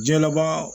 Diɲɛlabaa